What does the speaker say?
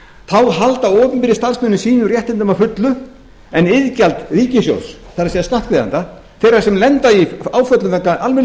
þá halda opinberir starfsmenn sínum réttindum að fullu en iðgjald ríkissjóðs það er skattgreiðenda þeirra sem lenda í áföllum vegna almennu